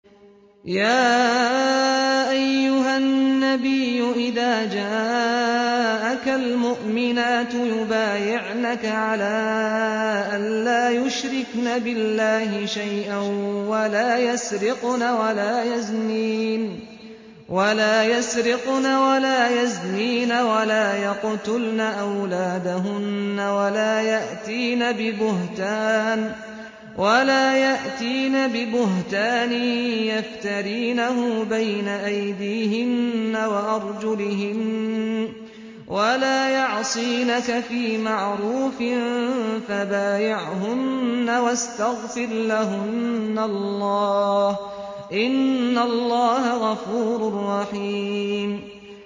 يَا أَيُّهَا النَّبِيُّ إِذَا جَاءَكَ الْمُؤْمِنَاتُ يُبَايِعْنَكَ عَلَىٰ أَن لَّا يُشْرِكْنَ بِاللَّهِ شَيْئًا وَلَا يَسْرِقْنَ وَلَا يَزْنِينَ وَلَا يَقْتُلْنَ أَوْلَادَهُنَّ وَلَا يَأْتِينَ بِبُهْتَانٍ يَفْتَرِينَهُ بَيْنَ أَيْدِيهِنَّ وَأَرْجُلِهِنَّ وَلَا يَعْصِينَكَ فِي مَعْرُوفٍ ۙ فَبَايِعْهُنَّ وَاسْتَغْفِرْ لَهُنَّ اللَّهَ ۖ إِنَّ اللَّهَ غَفُورٌ رَّحِيمٌ